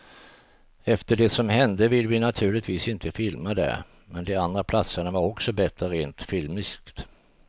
Efter det som hände ville vi naturligtvis inte filma där, men de andra platserna var också bättre rent filmiskt.